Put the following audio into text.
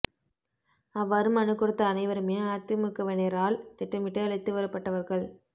அவ்வாறு மனு கொடுத்த அனைவருமே அதிமுகவினரால் திட்டமிட்டு அழைத்து வரப்பட்டவர்கள்